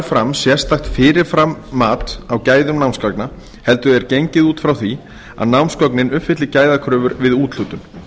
fram sérstakt fyrirframmat á gæðum námsgagna heldur er gengið út frá því að námsgögnin uppfylli gæðakröfur við úthlutun